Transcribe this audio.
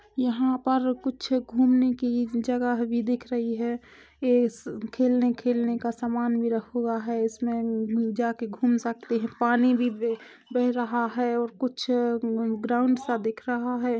यहाँ पर कुछ घूमने की जगह भी दिख रही है एस खेलने-खेलने का सामन भी रखा हुआ है इसमें म जाके घूम सकते है पानी भी बे बह रहा है और कुछ ग्राउंड सा दिख रहा है।